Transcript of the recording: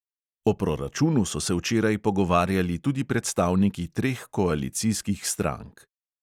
O proračunu so se včeraj pogovarjali tudi predstavniki treh koalicijskih strank.